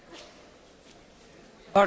Tisztelt Barroso elnök úr!